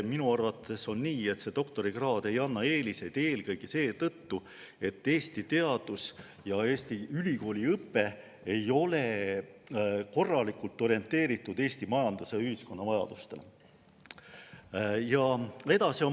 Minu arvates on nii, et doktorikraad ei anna eeliseid eelkõige seetõttu, et Eesti teadus ja Eesti ülikooliõpe ei ole korralikult orienteeritud Eesti majanduse ja ühiskonna vajadustele.